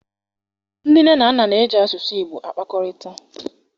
Ndị nne na nna na-eji asụsụ Igbo akpakọrịta.